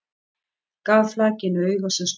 Gaf flakinu auga sem snöggvast.